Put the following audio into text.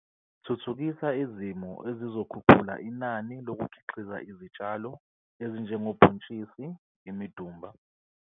Thuthukisa izimo ezizokhuphula inani lokukhiqiza izitshalo ezinjengobhontshisi, imidumba,